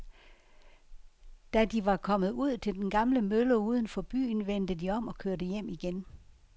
Da de var kommet ud til den gamle mølle uden for byen, vendte de om og kørte hjem igen.